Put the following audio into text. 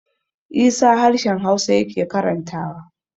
Isa harshen hausa yake karantawa